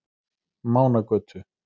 Mánagötu